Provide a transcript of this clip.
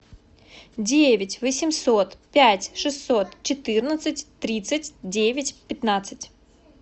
девять восемьсот пять шестьсот четырнадцать тридцать девять пятнадцать